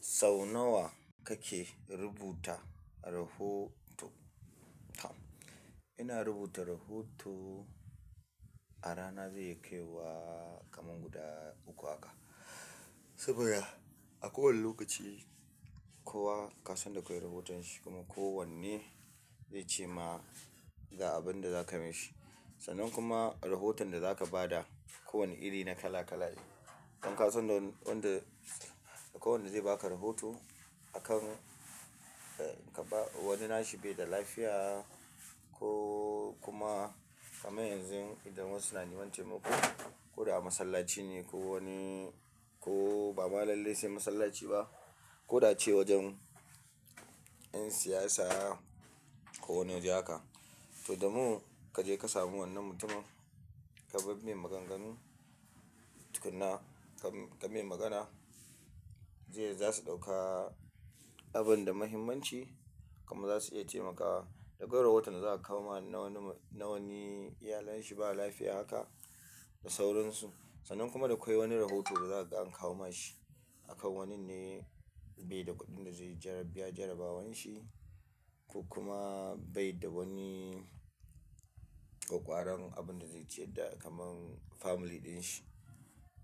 Sau nawa kake rubuta rahoto? Tom ina rubuta rahoto a rana zai iya kai wa kamar guda uku haka. Saboda. A kowane lokaci, kowa kasan da akwai rahoton shi kuma kowanne zai ce ma ga abin da za kai mashi. Sannan kuma rahoton da za ka ba da kowane iri na kala-kala ne. Don kasan wanda-- akwai wanda zai baka rahoto a kan, ka ba wani na shi bai da lafiya ko kuma. Kamar yanzu idan wasu na neman taimako, ko da a masallaci ne ko wani ko ba malalai sai masallaci ba, ko da ce wajen 'yan siyasa ko wane waje haka. To, da mu kaje ka samu wannan mutumin, ka dai mai maganganu tukuna, ka-ka mai magana. Zai-- za su ɗauka abun da muhimmanci. Kuma za su iya taimakawa da kwai rahoton da za'a kawo ma na wani, na wani iyalen shi ba lafiya haka da sauransu. Sannan kuma da akwai wani rahoto da za'a kaga an kawo mashi akan waninne bai da kuɗin da zai biya jarabawan shi. Ko kuma bai da wani ƙwaƙƙwaran abin da zai ciyar da kamar family ɗin shi.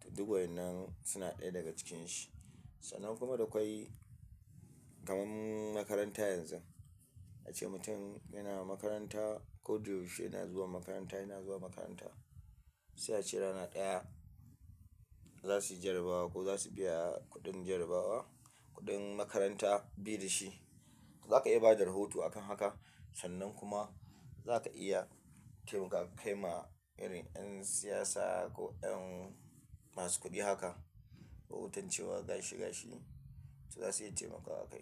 To, duk waƴannan suna ɗaya daga cikin shi. Sannan kuma da kwai kaman makaranta yanzun ace mutum yana makaranta ko da yaushe yana zuwa makaranta yana zuwa makaranta. Sai ace rana ɗaya za sui jarrabawa ko zasuyi biya kuɗin jarabawa kuɗin makaranta bai da shi. Zaka iya bada rahoto akan haka sannan kuma. Za ka iya taimaka kai ma irin 'yan siyasa ko 'yan masu kuɗi haka, rahoton cewa gashi gashi su za su iya taimakawa akai.